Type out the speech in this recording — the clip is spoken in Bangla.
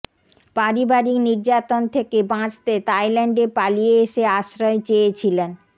পারিবারিক নির্যাতন থেকে বাঁচতে তাইল্যান্ডে পালিয়ে এসে আশ্রয় চেয়েছিলেন